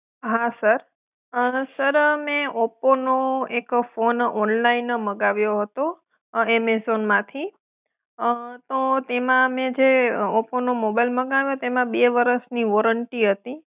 હા sir, sir મેં ઓપ્પોનું એક ફોન ઓનલાઇન મંગાવ્યો હતો અં એમેઝોનમાંથી અં તો તેમાં મેં જે ઓપ્પોનો મોબાઈલ મંગાવ્યો તેમાં બે વરસની વોરંટી હતી.